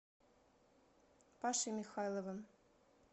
пашей михайловым